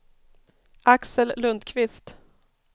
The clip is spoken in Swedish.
Axel Lundqvist